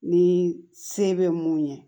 Ni se bɛ mun ye